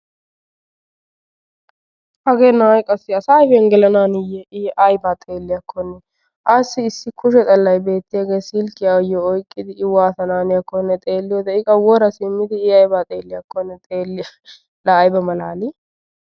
Hagee na'ay qassi asa ayfiyan gelanahaniiye I aybba xeelliyakkonne assi issi kushe xallay beettiyaagee silkiya ayo oyqqidi I waattanawu haniyakkonne xeeliyode I qa wora simmidi I aybaa xeelliyakkonne xeellees laa ayba malali